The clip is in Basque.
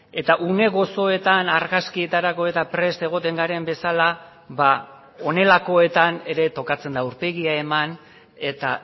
eta une gozoetan argazkietarako prest egoten garen bezala ba honelakoetan ere tokatzen da aurpegia eman eta